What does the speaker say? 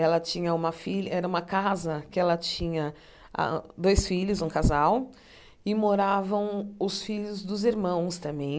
Ela tinha uma filha, era uma casa que ela tinha a dois filhos, um casal, e moravam os filhos dos irmãos também.